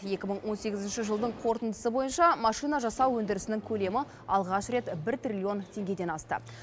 екі мың он сегізінші жылдың қорытындысы бойынша машина жасау өндірісінің көлемі алғаш рет бір триллион теңгеден асты